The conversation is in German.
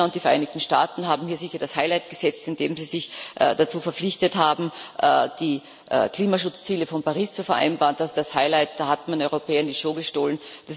China und die Vereinigten Staaten haben hier sicher das Highlight gesetzt, indem sie sich dazu verpflichtet haben, die Klimaschutzziele von Paris zu vereinbaren. Das ist das Highlight, da hat man den Europäern die Show gestohlen.